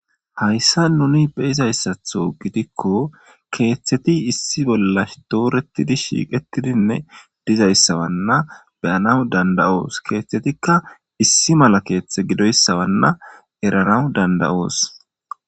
Haysan nuni beyizayti gidikon keetheti issi bolla dooretidi shiiqetidinne dizaysa beyanas danda'os. Keeyhetika issi mala keethey gidoysa eranas danda'os.